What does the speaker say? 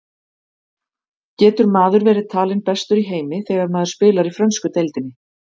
Getur maður verið talinn bestur í heimi þegar maður spilar í frönsku deildinni?